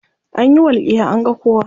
Anyi walƙiya an ga kowa.